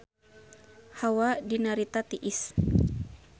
Hawa di Narita tiris